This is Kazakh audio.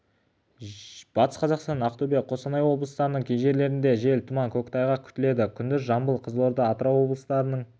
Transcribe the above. батыс қазақстан ақтөбе қостанай облыстарының кей жерлерінде жел тұман көктайғақ күтіледі күндіз жамбыл қызылорда атырау облыстарының